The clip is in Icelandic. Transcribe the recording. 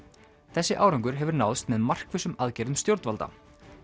þessi árangur hefur náðst með markvissum aðgerðum stjórnvalda